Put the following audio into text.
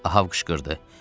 Av qışqırdı.